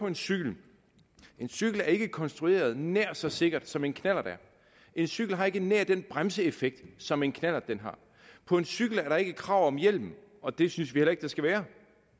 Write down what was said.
en cykel ikke er konstrueret nær så sikkert som en knallert er en cykel har ikke nær den bremseeffekt som en knallert har på en cykel er der ikke krav om hjelm og det synes vi heller ikke der skal være